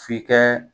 F'i kɛ